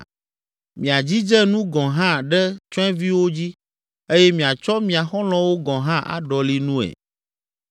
Miadzidze nu gɔ̃ hã ɖe tsyɔ̃eviwo dzi eye miatsɔ mia xɔlɔ̃wo gɔ̃ hã aɖɔli nue.